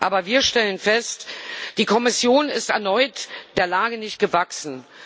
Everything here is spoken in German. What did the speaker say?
Aber wir stellen fest Die Kommission ist erneut der Lage nicht gewachsen.